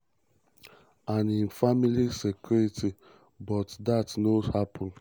and im family security but dat no happun.